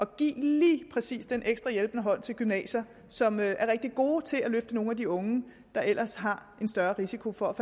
give lige præcis den ekstra hjælpende hånd til gymnasier som er rigtig gode til at løfte nogle af de unge der ellers har en større risiko for